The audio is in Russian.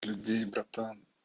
людей братан